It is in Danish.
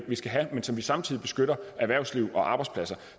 vi skal have og så vi samtidig beskytter erhvervslivet og arbejdspladserne